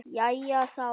Jæja þá.